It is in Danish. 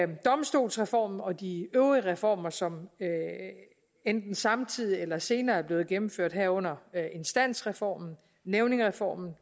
domstolsreformen og de øvrige reformer som enten samtidig eller senere er blevet gennemført herunder instansreformen nævningereformen